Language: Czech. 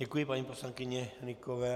Děkuji paní poslankyni Hnykové.